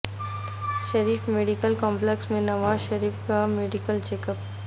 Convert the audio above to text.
شریف medical complex میں نواز شریف کا medical check up